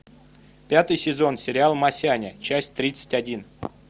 пятый сезон сериал масяня часть тридцать один